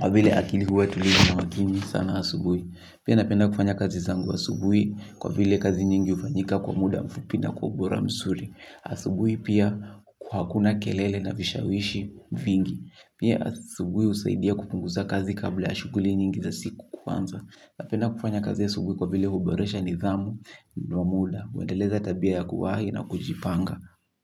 Kwa vile akili huwa tulivu na makini sana asubuhi. Pia napenda kufanya kazi zangu asubuhi kwa vile kazi nyingi hufanyika kwa muda mfupi na kwa ubora mzuri. Asubuhi pia kuhakuna kelele na vishawishi vingi. Pia asubuhi husaidia kupunguza kazi kabla ya shuguli nyingi za siku kuanza napenda kufanya kazi asubuhi kwa vile huboresha nidhamu ndio muda huendeleza tabia ya kuwahi na kujipanga.